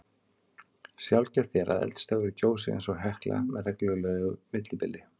Sjaldgæft er að eldstöðvar gjósi eins og Hekla með reglulegu millibili.